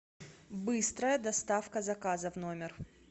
быстрая доставка заказа в номер